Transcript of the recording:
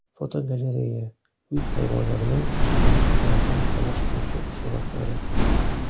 Fotogalereya: Uy hayvonlarining tushkunliklardan xalos qiluvchi suratlari.